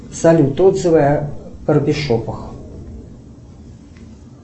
салют отзывы о барбершопах